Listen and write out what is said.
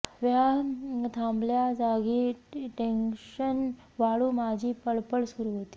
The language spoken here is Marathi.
व्हय थांबल्याजागी टेंगशन वाढून माझी पळपळ सुरु होती